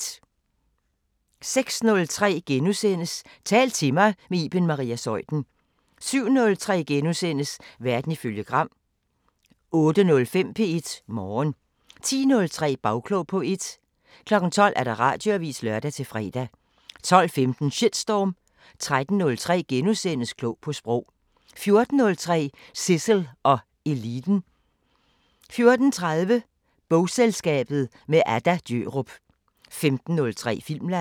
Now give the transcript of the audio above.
06:03: Tal til mig – med Iben Maria Zeuthen * 07:03: Verden ifølge Gram * 08:05: P1 Morgen 10:03: Bagklog på P1 12:00: Radioavisen (lør-fre) 12:15: Shitstorm 13:03: Klog på Sprog * 14:03: Zissel og Eliten 14:30: Bogselskabet – med Adda Djørup 15:03: Filmland